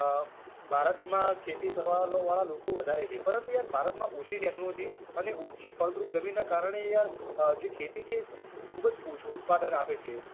અમ ભારતમાં ખેતી કરવા વાળા લોકો વધારે છે પરંતુ યાર ભારતમાં ઓછી technology અને ઓછી ફળદ્રુપ જમીનના કારણે યાર અમ જે ખેતી છે તે ખૂબ જ ઓછું ઉત્પાદન આપે છે